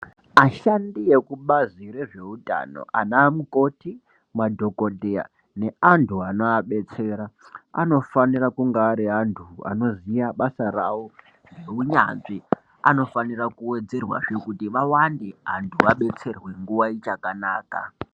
Ashandi ekubazi rezveutano anamukoti, madhokodheya neantu anoabetsera anofanira kunge ari antu anoziya basa ravo neunyanzvi. Anofanira kuwedzerwazve kuti vawande kuti vanhu vadetserwe nguwa ichakanaka.